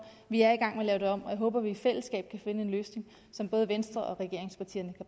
vi er i gang med at lave det om og jeg håber at vi i fællesskab kan finde en løsning som både venstre og regeringspartierne